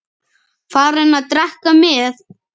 Farinn að drekka með